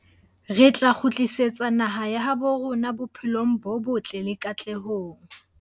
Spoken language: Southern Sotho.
Re tla kgutlisetsa naha ya habo rona bophelong bo botle le katlehong.